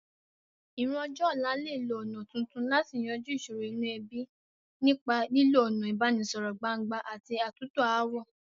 Ìran ọjọ́ ọ̀la lè lo ọ̀nà tuntun láti yanjú ìsòro inú ebí, nípa lílo ọ̀nà ìbánisọ̀rọ̀ gbangba àti àtúntò ááwọ̀.